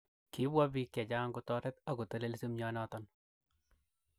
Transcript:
Kipwa piik chechang kotoret ak kotelelsi myonoton